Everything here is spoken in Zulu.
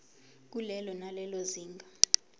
kulelo nalelo zinga